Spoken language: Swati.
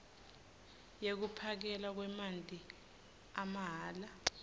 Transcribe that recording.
yekuphakelwa kwemanti amahhala